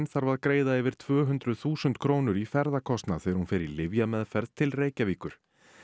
þarf að greiða yfir tvö hundruð þúsund krónur í ferðakostnað þegar hún fer í lyfjameðferð til Reykjavíkur